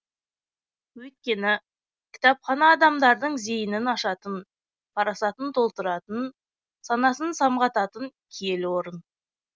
өйткені кітапхана адамдардың зейінін ашатын парасатын толтыратын санасын самғататын киелі орын